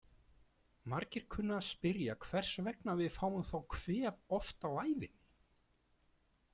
Margir kunna að spyrja hvers vegna við fáum þá kvef oft á ævinni.